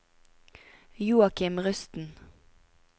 Joakim Rusten